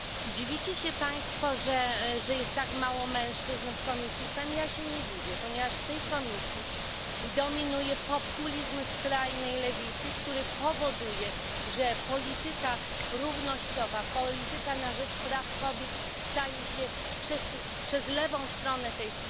Dziwicie się Państwo, że jest tak mało mężczyzn w komisji FEMM, ja się nie dziwię, ponieważ w tej komisji dominuje populizm skrajnej lewicy, który powoduje, że polityka równościowa, polityka na rzecz praw kobiet staje się przez lewą stronę tej